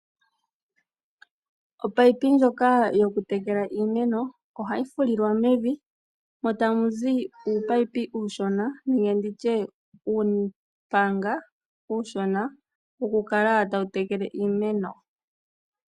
Omunino ngoka gokutekela omiineno ohayi fulilwa mevi mo tamuzi uumunino uushona nenge nditye uumpanga woku kala tayi tekele iimeno.